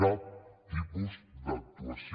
cap tipus d’actuació